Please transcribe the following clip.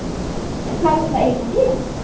En hvað á þetta eiginlega að þýða?